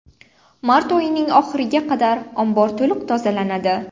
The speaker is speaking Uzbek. Mart oyining oxiriga qadar ombor to‘liq tozalanadi.